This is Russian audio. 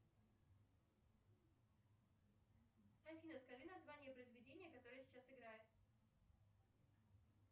афина скажи название произведения которое сейчас играет